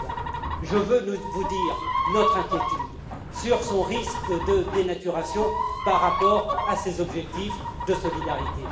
2020. Je veux vous dire notre inquiétude sur son risque de dénaturation par rapport à ces objectifs de solidarité.